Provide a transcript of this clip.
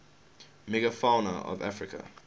megafauna of africa